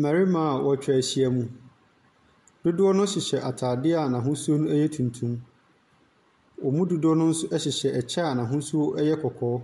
Mbɛrema a wetwa ehyiemu, dodoɔ na hyehyɛ ataadeɛ n'ahosuo no yɛ tuntum. Wɔn mu dodoɔ no so ɛhyehyɛ ɛkyɛ a n'ahosuo no ɛyɛ kɔkɔɔ,